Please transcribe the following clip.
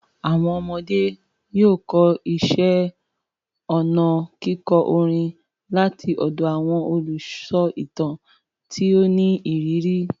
Àwọn ọmọdé yóò kọ́ iṣẹ́ ọnà kíkọ orin láti ọ̀dọ̀ àwọn olùsọ ìtàn tí ó ní ìrírí.